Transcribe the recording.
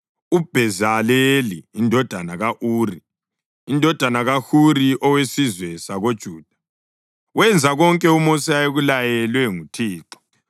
(UBhezaleli indodana ka-Uri, indodana kaHuri, owesizwe sakoJuda, wenza konke uMosi ayekulaywe nguThixo,